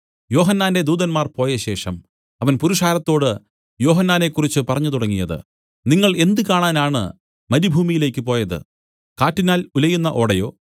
യോഹന്നാന്റെ ദൂതന്മാർ പോയശേഷം അവൻ പുരുഷാരത്തോട് യോഹന്നാനെക്കുറിച്ച് പറഞ്ഞു തുടങ്ങിയത് നിങ്ങൾ എന്ത് കാണാനാണ് മരുഭൂമിയിലേക്ക് പോയത് കാറ്റിനാൽ ഉലയുന്ന ഓടയോ